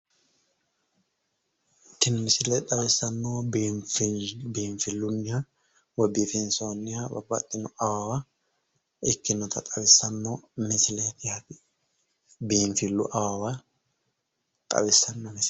Tini misile xawissannohu biinfilleho biinfillu yanna woy biifinsoonniha babbaxxinoha awawa ikkinota xawissanno misileeti yaate biinfillu awawa xawissanno misisleeti